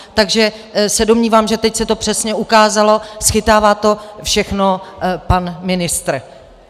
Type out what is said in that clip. Takže se domnívám, že teď se to přesně ukázalo, schytává to všechno pan ministr.